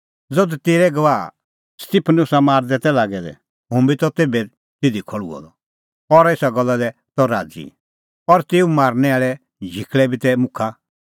ज़धू तेरै गवाह स्तिफनुसा मारदै तै लागै दै हुंह बी त तेभै तिधी खल़्हुअ द और एसा गल्ला दी त राज़ी और तेऊ मारनै आल़े झिकल़ै बी तै मुखा